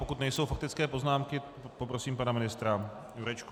Pokud nejsou faktické poznámky, poprosím pana ministra Jurečku.